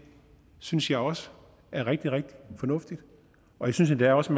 synes jeg også er rigtig rigtig fornuftigt og jeg synes endda også